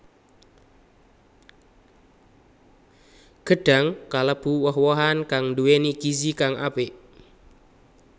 Gedhang kalêbu woh wohan kang nduwèni gizi kang apik